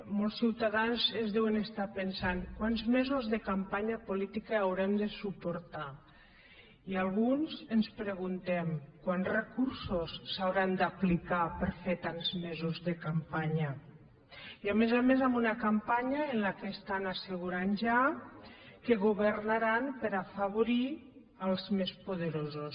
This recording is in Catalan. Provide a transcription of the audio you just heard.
molt ciutadans deuen estar pensant quants mesos de campanya política haurem de suportar i alguns ens preguntem quants recursos s’hauran d’aplicar per a fer tants mesos de campanya i a més a més una campanya en què estan assegurant ja que governaran per afavorir els més poderosos